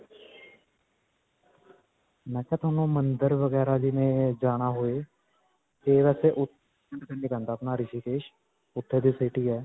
ਮੈਂ ਕਿਹਾ ਤੁਹਾਨੂੰ ਮੰਦਰ ਵਗੈਰਾ ਜਿਵੇਂ ਜਾਣਾ ਹੋਏ ਤੇ ਇੱਥੇ ਅਪਣਾ ਰਿਸ਼ੀਕੇਸ਼ ਉੱਥੇ ਦੀ city ਹੈ.